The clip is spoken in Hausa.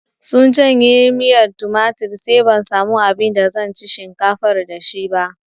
Sun canye miyar tumatir sai ban samu abin da zan ci shinkafar da shi ba